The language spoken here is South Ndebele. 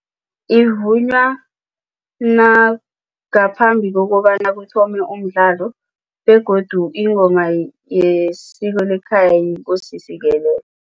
Ivunywa ngaphambi kokobana kuthome umdlalo begodu ingoma yesiko lekhaya yiNkosi sikelela.